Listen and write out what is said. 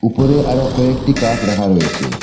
উপরে আরও কয়েকটি কাফ রাখা রয়েছে।